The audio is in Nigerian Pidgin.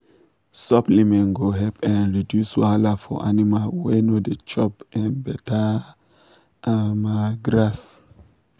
suppliment go help um reduce wahala for animal wey no da chop um better um grass